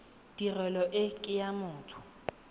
tirelo e ke ya motho